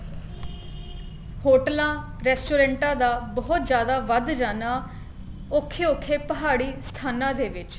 ਹੋਟਲਾਂ ਰੇਸਟੋਰੇਂਟਾ ਦਾ ਬਹੁਤ ਜਿਆਦਾ ਵੱਧ ਜਾਣਾ ਔਖੇ ਔਖੇ ਪਹਾੜੀ ਸਥਾਨਾ ਦੇ ਵਿੱਚ